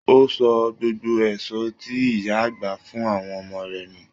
O sọ gbogbo èso tí ìyá àgbà fún àwọn ọmọ rẹ nù.